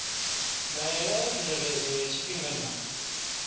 ndaela ya tsireledzo ya tshifhinganyana